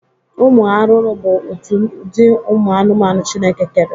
Ụmụ arụrụ bụ otu ụdị ụmụ anụmanụ Chineke kere.